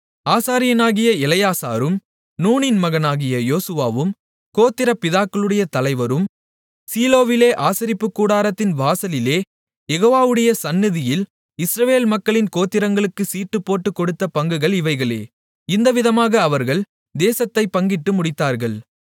ஆசாரியனாகிய எலெயாசாரும் நூனின் மகனாகிய யோசுவாவும் கோத்திரப் பிதாக்களுடைய தலைவரும் சீலோவிலே ஆசரிப்புக் கூடாரத்தின் வாசலிலே யெகோவாவுடைய சந்நிதியில் இஸ்ரவேல் மக்களின் கோத்திரங்களுக்குச் சீட்டுப்போட்டுக் கொடுத்த பங்குகள் இவைகளே இவ்விதமாக அவர்கள் தேசத்தைப் பங்கிட்டு முடித்தார்கள்